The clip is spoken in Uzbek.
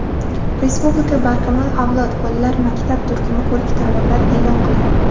Respublika "Barkamol avlod" bolalar maktabi turkum ko‘rik-tanlovlar e’lon qiladi!.